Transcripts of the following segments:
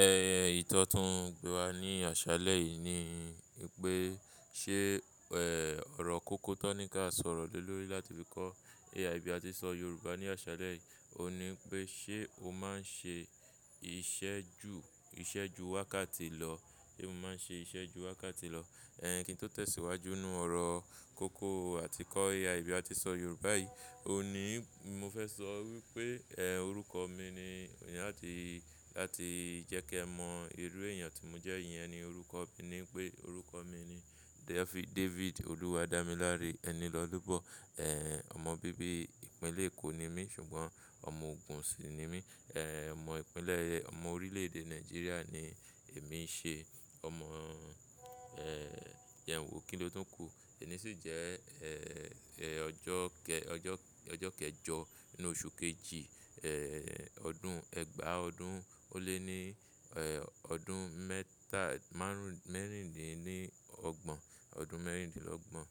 Ẹ̀yi tan tún gbé wa ní àṣàlẹ̀ yìí ni pé ṣé, ọ̀rọ̀ kókó tó ní ká sọ̀rọ̀ ló lórí láti fi kọ́ AI bí a ti ń sọ Yorùbá ní àṣàlẹ̀ yìí. Ó ní pé ṣé o máa ń ṣe iṣẹ́ ju, iṣẹ́ ju wákàtí lọ? Sé mo máa ń ṣe iṣẹ́ ju wákàtí lọ? Ẹ̀hẹn, kí n tó tẹ̀síwájú nínú ọ̀rọ̀ kókó àti kọ́ AI bí a ti ń sọ Yorùbá yìí, ó ní mo fẹ́ sọ wípé, ẹ́, orúkọ mi ni ni láti, láti jẹ́ kí ẹ mọ irú èèyàn tí mo jẹ́ yẹn ni orúkọ mi ni pé orúkọ mi ni David, David Olúwadámiláre Enilọ́lúbọ̀. Ẹ̀, ọmọ bíbí ìpínlẹ̀ Èkó ni mí ṣùgbọ́n ọmọ Ògùn sì ni mí. Omọ ìpínlẹ̀, ọmọ orílẹ̀-èdè Nàìjíríà ni èmi ṣe. Ọmọ, jẹn wo, kí ló tún kù? Èní sì jẹ́, ọjọ́ kẹ, ọjọ́, ọjọ́ kẹjọ nínú oṣù kejì, ẹ́, ọdún ẹgbàá ọdún ó lé ní, ọdún mẹ́ta márùn-ún, mẹ́rìndínlógbon, ọdún mẹ́rìndínlọ́gbọ̀n.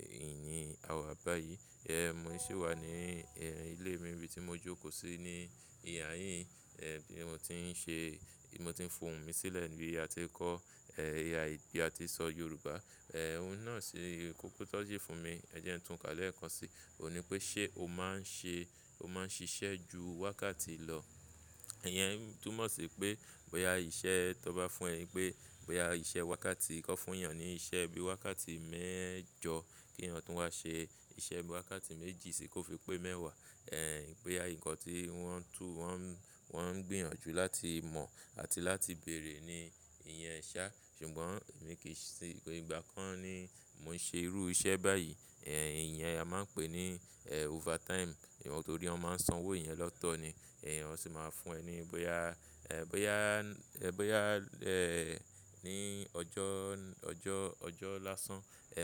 Ìyẹn àwa báyìí. Mo sì wà ní ilé mi nibi tí mo jókòó sí ní ìhà yín. Bí mo ti ń ṣe, bí mo ti ń fọ̀hun mi sílẹ̀ níbí ti a ti ń kọ́ AI, bí a ti ń sọ Yorùbá. Òun náà ṣe kókó tó jí fún mi. Ẹ̀jẹ̀ ń tún ká lẹ́ẹ̀kan sí i. Ó ní pé ṣé o máa ń ṣe, o máa ń ṣiṣẹ́ ju wákàtí lọ? Ẹ̀yẹn túmọ̀ sí pé bóyá iṣẹ́ tón bá fún ẹ pé, bóyá iṣẹ́ wákàtí kan fún èèyàn ni iṣẹ́ bí i wákàtí mẹ́jọ kí èèyàn tún wá ṣe iṣẹ́ bí i wákàtí méjì sí i kó fi pé mẹ́wàá. Ẹ̀, bóyá nǹkan tí wọ́n ń tú, wọ́n ń, wọ́n ń gbìyànjú láti mọ̀ àti láti bèrè ni ìyẹn ṣá. Ṣùgbọ́n èmi kì í ṣe ìgbà kan ni mò ń ṣe irú iṣẹ́ báyìí. Ìyẹn a máa ń pè ní, overtime. Torí wọ́n máa ń san owó ìyẹn lọ́tọ̀ ni. Èèyàn sì máa fún ẹ ní bóyá, bóyá, bóyá, ní ọjọ́, ọjọ́, ọjọ́ lásán,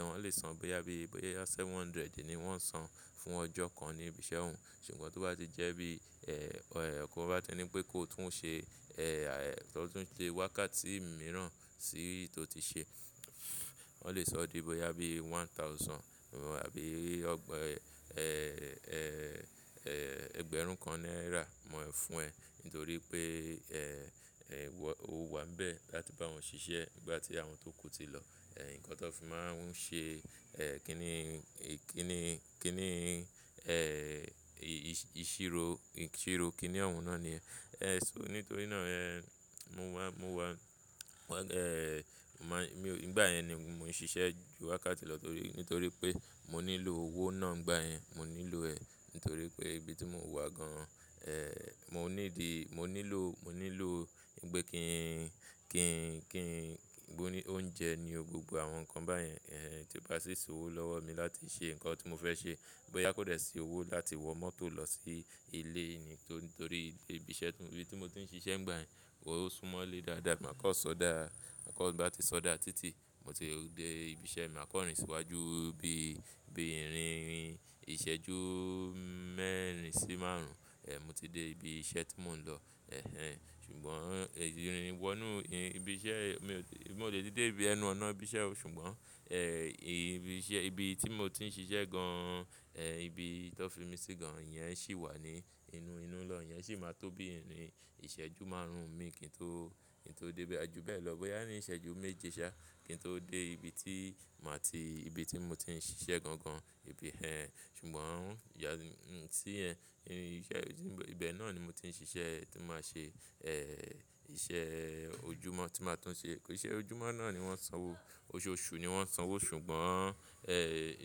wọ́n lè san bóyá bí i bóyá seven hundred ni wọ́n san fún ọjọ́ kan ní ibi iṣẹ́ òun. Ṣùgbọ́n tó bá ti jẹ́ bí, ọ̀rẹ́ ọkọ bá ti ní pé kó tún ṣe, kó tún ṣe wákàtí mìíràn sí èyí tó ti ṣe, wọ́n lè sọ ọ́ di bóyá bí i one thousand àbí ọgbọ̀n, ẹgbẹ̀rún kan náírà ni won lẹ fún ẹ nítorí pé, o wà níbẹ̀ láti bá wọn ṣiṣẹ́ nígbà tí àwọn tó kù ti lọ. Ǹkan tó fi máa ń ṣe, ẹ́, kí n ní, kí n ní, kí n ní, ìṣirò, ìṣirò kí ni òun náà ni yẹ́n. So nítorí náà, mo wá, mo wá, mo, mi ò nígbà yẹn ni mò ń ṣiṣẹ́ ju wákàtí lọ torí, nítorí pé mo nílò owó náà nígbà yẹn. Mo nílò ẹ́ nítorí pé ibi tí mò ń wà gan-an, mo need, mo nílò, mo nílò pé kí n, kí n, kí n oúnjẹ ní o, gbogbo àwọn nǹkan báyen. Tí ó bá sì ṣòwò lọ́wọ́ mi láti ṣe ǹkan tí mo fẹ́ ṣe. Bóyá kò lè sí owó láti wọ mọ́tò lọ sí ilé ni nítorí ibi iṣẹ́, ibi tí mo ti ń ṣiṣẹ́ nígbà yẹn, o súnmọ́ ilé dáadáa. Máa kan ṣọdá, man kan ti n bá ti ṣọdá títì, mo ti dé ibi iṣẹ́ mi, maa kan rìn síwájú bí, bí ìrìn ìrìn ìṣẹ́jú mẹ́rin sí márùn-ún, mo ti dé ibi iṣẹ́ tí mò ń lọ. Ehen, ṣùgbọ́n ìrìn ìwọ̀nú ibi iṣẹ́, mo dè ti dé dé ibi ẹnu ọ̀nà ibi iṣẹ́ o. Ṣùgbọ́n, ibi iṣẹ́, ibi tí mo ti ń ṣiṣẹ́ gan-an, ibi tó fi mi sí gan-an yẹn sì wà ní inú, inú lọun. Ìyẹn sì máa tó bí ìrìn ìṣẹ́jú márùn-ún mi kí n tó, kí n tó dé ibi àjò bẹ́ẹ̀ lọ. Bóyá ní ìṣẹ́jú méje ṣá kí n tó dé ibi tí màá ti, ibi tí mo ti ń ṣiṣẹ́ gan-an gan, ibi ẹ́. Ṣùgbọ́n ìyà sí ẹ, ìṣe, ibẹ̀ náà ni mo ti ń ṣiṣẹ́ e tí màá ṣe, ẹ́, iṣẹ́ ojúmọ́ tí màá tún ṣe. Iṣẹ́ ojúmọ́ náà ni wọ́n san owó. Oṣooṣù ni wọ́n san owó. Ṣùgbọ́n, ẹ́, tí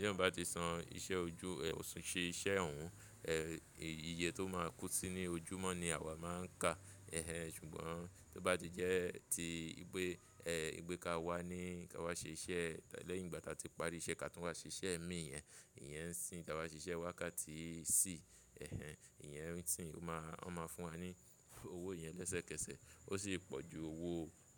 èèyàn bá ti san iṣẹ́ ojú, ẹ́, ṣe iṣẹ́ òun, ẹ́, ii iye tó máa kó sí ní ojúmọ́ ni àwa máa ń kà. Ẹ̀hẹn, ṣùgbọ́n tó bá ti jẹ́ ti pé, ẹ́, igbé ka wá ní ká wá ṣe iṣẹ́ lẹ́yìn ìgbà tí a ti parí iṣẹ́ ká tún wá ṣe iṣẹ́ mi, ìyẹn, ìyẹn ń ṣe kí a wá ṣe iṣẹ́ wákàtí sìí. Ẹ̀hẹn, ìyẹn nítí ón máa, wọ́n máa fún wa ní owó ìyẹn lẹ́sẹ̀kẹsẹ̀. Ó sì pọ̀ ju owó,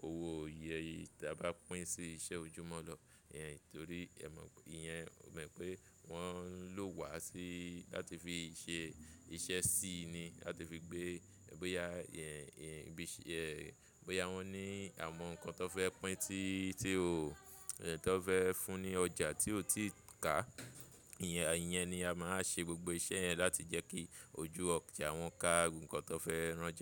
owó iyeyi táa bá pín sí iṣẹ́ ojúmọ́ lọ. Ẹ̀yẹn nítorí ẹ mọ̀, ìyẹn o mọ̀ pé wọ́n ń lò wa sí láti fi ṣe iṣẹ́ sí ni láti fi gbé, bóyá, ẹ́, ẹ bí iṣẹ́, ẹ́, bóyá wọ́n ní àwọn nǹkan tón fẹ́ pín tí, tí ó, tón fẹ́ fún ní ọjà tí ó ti ká. Ìyẹn, a ìyẹn ni a máa ń ṣe gbogbo iṣẹ́ yẹn láti jẹ́ kí ojú ọjà wọ́n ká ohun kan tó fẹ́ rán jáde.